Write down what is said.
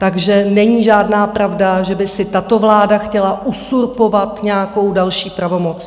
Takže není žádná pravda, že by si tato vláda chtěla uzurpovat nějakou další pravomoc.